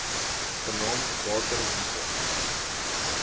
genaamd water wise